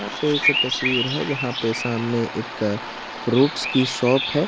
तस्वीर है जहां पे सामने एक फ्रूट्स की शॉप है।